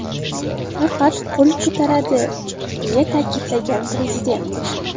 Faqat qo‘l ko‘taradi”, - deya ta’kidlagan prezident.